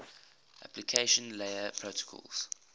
application layer protocols